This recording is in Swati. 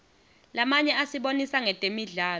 lamanye asibonisa ngetemidlalo